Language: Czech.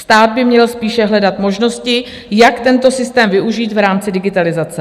Stát by měl spíše hledat možnosti, jak tento systém využít v rámci digitalizace.